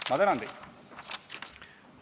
Ma tänan teid!